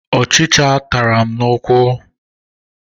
Ọchịcha tara m n'ụkwụ.